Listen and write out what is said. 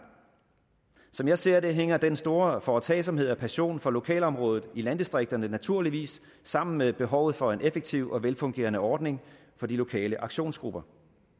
som jeg ser det hænger den store foretagsomhed og passion for lokalområdet i landdistrikterne naturligvis sammen med behovet for en effektiv og velfungerende ordning for de lokale aktionsgrupper